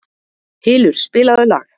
Hylur, spilaðu lag.